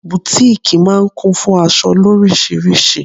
Butiiki máa ń kún fún aṣọ loríṣiríṣi.